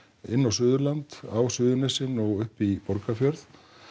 inn á Suðurland á Suðurnesin og upp í Borgarfjörð